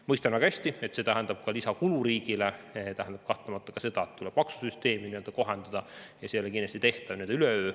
Mõistan väga hästi, et see tähendab ka lisakulu riigile, see tähendab kahtlemata ka seda, et tuleb maksusüsteemi kohendada, ja see ei ole kindlasti tehtav üleöö.